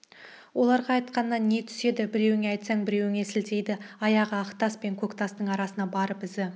оларға айтқаннан не түседі біреуіңе айтсаң біреуіне сілтейді аяғы ақтас пен көк тастың арасына барып ізі